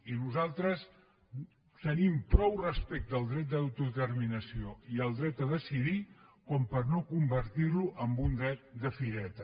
i nosaltres tenim prou respecte al dret d’autodeterminació i al dret a decidir com per no convertir lo en un dret de fireta